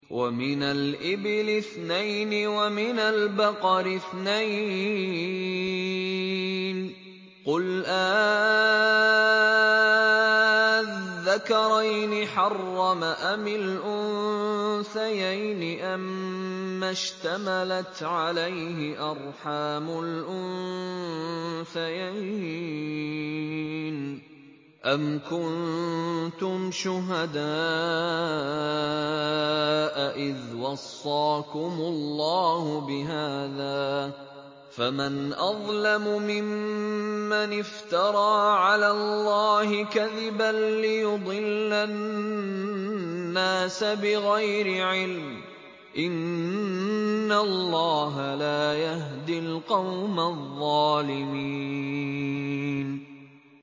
وَمِنَ الْإِبِلِ اثْنَيْنِ وَمِنَ الْبَقَرِ اثْنَيْنِ ۗ قُلْ آلذَّكَرَيْنِ حَرَّمَ أَمِ الْأُنثَيَيْنِ أَمَّا اشْتَمَلَتْ عَلَيْهِ أَرْحَامُ الْأُنثَيَيْنِ ۖ أَمْ كُنتُمْ شُهَدَاءَ إِذْ وَصَّاكُمُ اللَّهُ بِهَٰذَا ۚ فَمَنْ أَظْلَمُ مِمَّنِ افْتَرَىٰ عَلَى اللَّهِ كَذِبًا لِّيُضِلَّ النَّاسَ بِغَيْرِ عِلْمٍ ۗ إِنَّ اللَّهَ لَا يَهْدِي الْقَوْمَ الظَّالِمِينَ